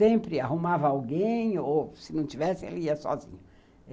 Sempre arrumava alguém ou, se não tivesse, ele ia sozinho.